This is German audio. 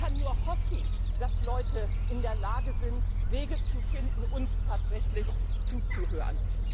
Ich kann nur hoffen, dass Leute in der Lage sind, Wege zu finden, uns tatsächlich zuzuhören.